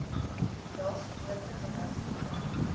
lae geboortegewig ontvang